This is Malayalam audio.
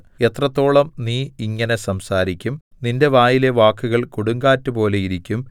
എത്രത്തോളം നീ ഇങ്ങനെ സംസാരിക്കും നിന്റെ വായിലെ വാക്കുകൾ കൊടുങ്കാറ്റുപോലെ ഇരിക്കും